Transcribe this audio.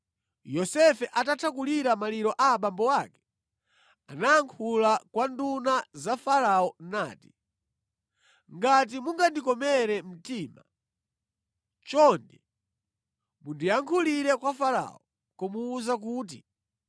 Yosefe atatha kulira maliro a abambo ake, anayankhula kwa nduna za Farao nati, “Ngati mungandikomere mtima, chonde mundiyankhulire kwa Farao kumuwuza kuti,